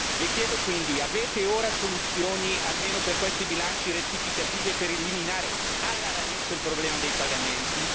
Le chiedo quindi avete ora soluzioni almeno per questi bilanci rettificativi e per eliminare alla radice il problema dei pagamenti?